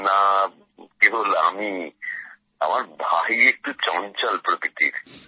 না কেবল আমিই আমার ভাই একটু চঞ্চল প্রকৃতির